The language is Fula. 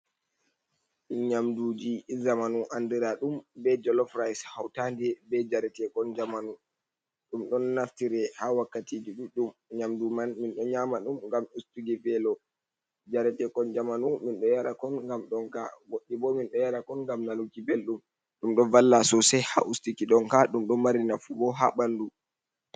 Nyamduji zamanu andira ɗum be jolof ris hautande be jare tekon jamanu, ɗum ɗon naftire ha wakkatiji ɗuɗɗum nyamdu man minɗo nyama ɗum ngam ustigi belo jaretekon jamanu minɗo yara kon gam ɗonka goɗɗi bo minɗo yara kon ngam nabuki belɗum, ɗum ɗo valla sosai ha ustiki ɗonka ɗum ɗo mari nafu bo ha ɓandu.